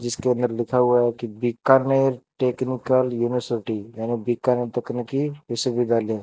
जिसके अंदर लिखा हुआ है कि बीकानेर टेक्निकल यूनिवर्सिटी यानी बीकानेर तकनीकी विश्वविद्यालय।